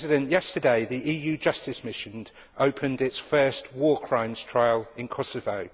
Yesterday, the EU Justice Mission opened its first war crimes trial in Kosovo.